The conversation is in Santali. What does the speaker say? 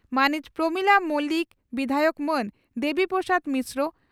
ᱢᱟᱹᱱᱤᱡ ᱯᱨᱚᱢᱤᱞᱟ ᱢᱚᱞᱤᱠ ᱵᱤᱫᱷᱟᱭᱚᱠ ᱢᱟᱹᱱ ᱫᱮᱵᱤ ᱯᱨᱚᱥᱟᱫᱽ ᱢᱤᱥᱨᱚ